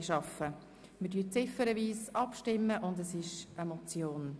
Wir stimmen nun ziffernweise über diese Motion ab.